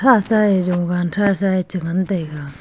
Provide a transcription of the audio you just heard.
tasa e jowan tha sa e che ngan taiga.